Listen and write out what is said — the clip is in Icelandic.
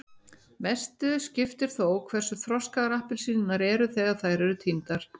mestu skiptir þó hversu þroskaðar appelsínurnar eru þegar þær eru tíndar